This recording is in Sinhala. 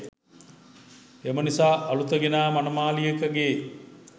එම නිසා අලුත ගෙනා මනමාලියක ගේ